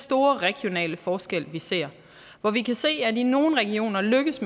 store regionale forskel vi ser hvor vi kan se at man i nogle regioner lykkes